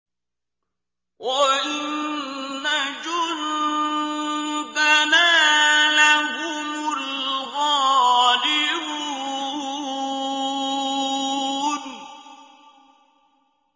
وَإِنَّ جُندَنَا لَهُمُ الْغَالِبُونَ